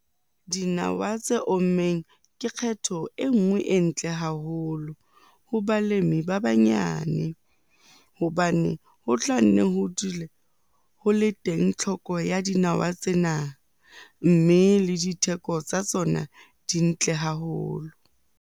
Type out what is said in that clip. Dinawa tse ommeng ke kgetho e nngwe e ntle haholo ho balemi ba banyane hobane ho tla nne ho dule ho le teng tlhoko ya dinawa tsena, mme le ditheko tsa tsona di ntle haholo.